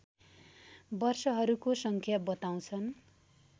वर्षहरूको सङ्ख्या बताउँछन्